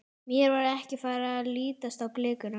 Mér var ekki farið að lítast á blikuna.